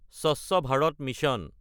স্বচ্ছ ভাৰত মিছন